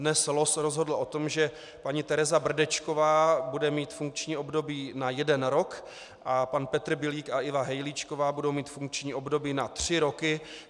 Dnes los rozhodl o tom, že paní Tereza Brdečková bude mít funkční období na jeden rok a pan Petr Bilík a Iva Hejlíčková budou mít funkční období na tři roky.